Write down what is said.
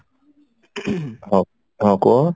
ହଉ ହଁ କୁହ